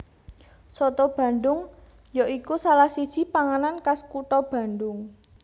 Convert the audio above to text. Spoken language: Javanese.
Soto Bandhung ya iku salah siji panganan khas kutha Bandhung